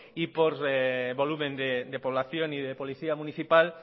y por volumen de población y de policía municipal